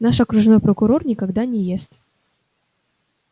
наш окружной прокурор никогда не ест